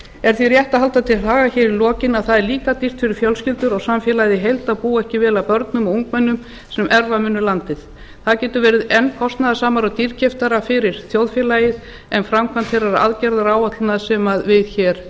er því rétt að halda til haga hér í lokin að það er líka dýrt fyrir fjölskyldur og samfélagið í heild að búa ekki vel að börnum og ungmennum sem erfa munu landið það getur verið enn kostnaðarsamara og dýrkeyptara fyrir þjóðfélagið en framkvæmd þeirrar aðgerðaáætlunar sem við hér